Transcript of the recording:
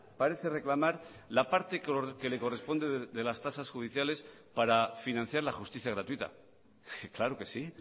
parece reclamar la parte que le corresponde de las tasas judiciales para financiar la justicia gratuita claro que sí